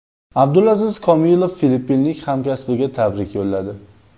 Abdulaziz Komilov filippinlik hamkasbiga tabrik yo‘lladi.